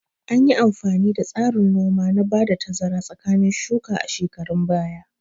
Anyi amfani da tsarin noma na ba da tazara tsakanin shuka a shekarun baya